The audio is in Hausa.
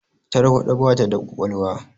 Tarwaɗa ba ta da ƙwaƙwalwa